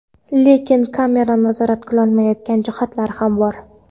Lekin kamera nazorat qilolmaydigan jihatlar ham bor.